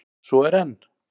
Svo er enn!